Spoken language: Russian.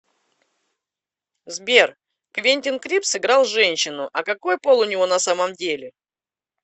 сбер квентин крипс играл женщину а какои пол у него на самом деле